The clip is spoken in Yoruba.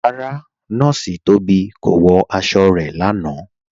Rárá, Nọọ̀ṣì Tóbi kò wọ̀ àṣọ̀ rẹ̀ lánà.